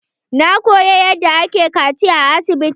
Na koyi yadda ake kaciya a asibiti.